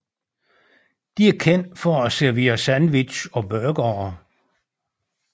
De er kendt for at servere sandwich og burgere